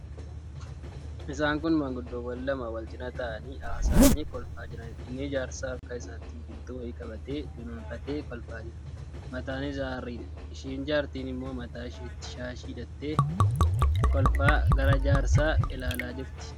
Isaan kun maanguddoowwan lama wal cina taa'anii haasa'anii kolfaa jiraniidha. Inni jaarsaa harka isaatti biqiltuu wayii qabatee dunuunfatee kolfaa jira. Mataan isaa harriidha. Isheen jaartiin immoo mataa isheetti shaashii hidhattee, kolfaa gara jaarsaa ilaalaa jirti.